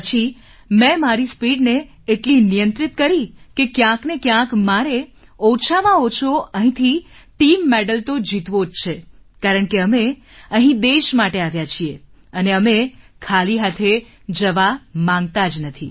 તે પછી મેં મારી સ્પીડ ને એટલી નિયંત્રિત કરી કે ક્યાંકને ક્યાંક મારે ઓછામાં ઓછો અહીંથી ટીમ મેડલ તો જીતવો જ છે કારણ કે અમે અહીં દેશ માટે આવ્યા છીએ અને અમે ખાલી હાથે જવા માંગતા નથી